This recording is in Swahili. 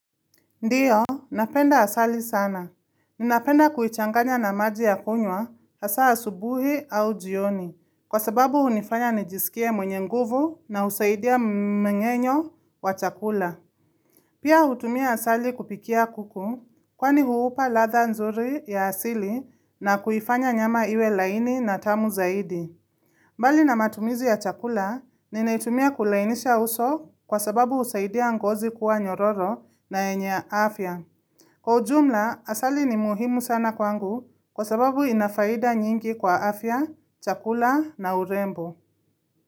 Ndiyo, napenda asali sana. Ninapenda kuichanganya na maji ya kunywa asa asubuhi au jioni. Kwa sababu unifanya nijisikie mwenye nguvu na usaidia mwenye nyo wa chakula. Pia utumia asali kupikia kuku kwani huupa latha nzuri ya asili na kuhifanya nyama iwe laini na tamu zaidi. Mbali na matumizi ya chakula, ninaitumia kulainisha uso kwa sababu usaidia ngozi kuwa nyororo na yenye afya. Kwa ujumla, asali ni muhimu sana kwangu kwa sababu inafaida nyingi kwa afya, chakula na urembo.